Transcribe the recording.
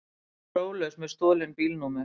Próflaus með stolin bílnúmer